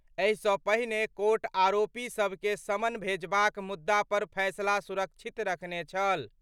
एहि सं पहिने कोर्ट आरोपी सभ के समन भेजबाक मुद्दा पर फैसला सुरक्षित रखने छल।